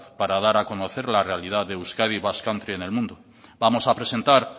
para dar a conocer la realidad de euskadi basque country en el mundo vamos a presentar